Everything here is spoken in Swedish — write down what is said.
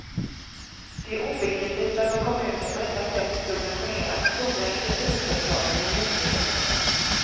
Det är obegripligt varför kommunen på detta sätt subventionerat stora industriföretag med miljonbelopp.